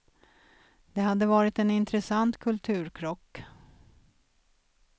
Det hade varit en intressant kulturkrock.